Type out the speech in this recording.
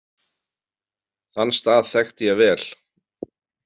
Þann stað þekkti ég vel.